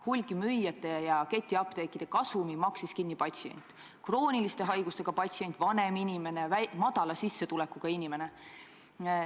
Hulgimüüjate ja ketiapteekide kasumi maksis kinni patsient, krooniliste haigustega patsient, vanem inimene, väikese sissetulekuga inimene.